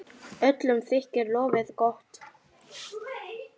Öllum þykir lofið gott.